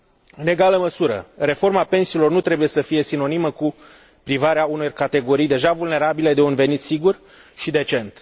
În egală măsură, reforma pensiilor nu trebuie să fie sinonimă cu privarea unor categorii deja vulnerabile de un venit sigur și decent.